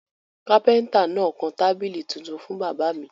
Kápẹ́ńtà náà kan tábìlì tuntun fún bàbá mi.